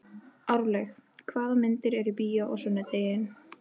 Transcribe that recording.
Árlaug, hvaða myndir eru í bíó á sunnudaginn?